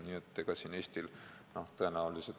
Nii et ega siin Eestil tõenäoliselt midagi muuta võimalik ole.